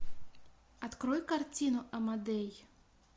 открой картину амадей